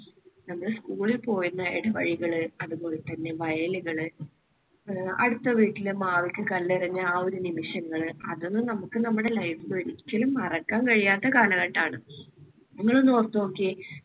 നമ്മൾ school ൽ പോയിരുന്ന ഇടവഴികള്, അതുപോലെതന്നെ വയലുകള്, അടുത്ത വീട്ടിലെ മാവിലേക്ക് കല്ലെറിഞ്ഞ് ആ ഒരു നിമിഷങ്ങള്, അതൊന്നും നമുക്ക് നമ്മുടെ life ൽ ഒരിക്കലും മറക്കാൻ കഴിയാത്ത കാലഘട്ടമാണ്. നിങ്ങൾ ഒന്നോർത്ത് നോക്കിയേ